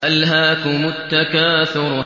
أَلْهَاكُمُ التَّكَاثُرُ